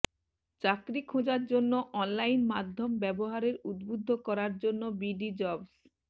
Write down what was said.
চাকরি খোঁজার জন্য অনলাইন মাধ্যম ব্যবহারের উদ্বুদ্ধ করার জন্য বিডিজবস